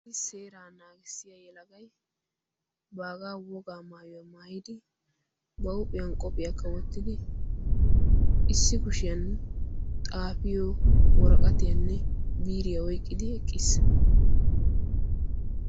issi seeraa naagissiya yelagay baagaa wogaa maayuyaa maayidi ba huuphiyan qophiyaa kawottidi issi kushiyan xaafiyo wooraqatiyaanne biriyaa oyqqidi eqqiis.